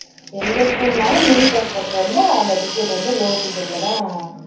எந்த school ன்னாலும் uniform போட்டு வந்தா அந்த ticket வந்து low ticket ல தான்